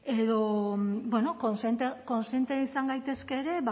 edo bueno kontziente izan gaitezke ere